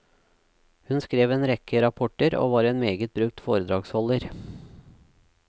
Hun skrev en rekke rapporter, og var en meget brukt foredragsholder.